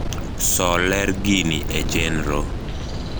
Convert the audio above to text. so ler gini e chenro